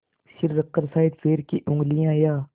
सिर रखकर शायद पैर की उँगलियाँ या